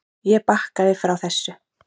Ég bakkaði frá þessu.